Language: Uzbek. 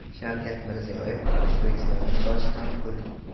Shavkat Mirziyoyev: O‘zbekistonning toshi ham pul!